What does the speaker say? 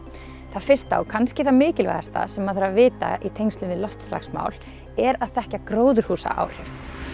það fyrsta og kannski það mikilvægasta sem maður þarf að vita í tengslum við loftslagsmál er að þekkja gróðurhúsaáhrif